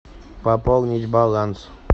пополнить баланс